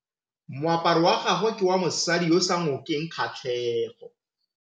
Moaparô wa gagwe ke wa mosadi yo o sa ngôkeng kgatlhegô.